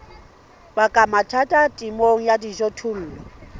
baka mathata temong ya dijothollo